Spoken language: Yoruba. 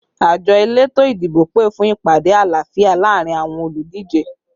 Àjọ elétò ìdìbò pè fún ìpàdé àlàáfíà laarin awọn oludije